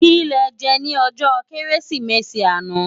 Ki lè jè ni òjò Kérésimési àná